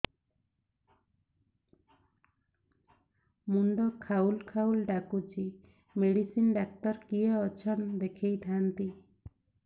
ମୁଣ୍ଡ ଖାଉଲ୍ ଖାଉଲ୍ ଡାକୁଚି ମେଡିସିନ ଡାକ୍ତର କିଏ ଅଛନ୍ ଦେଖେଇ ଥାନ୍ତି